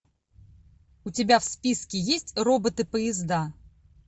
у тебя в списке есть роботы поезда